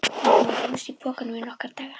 Láta hann dúsa í pokanum í nokkra daga!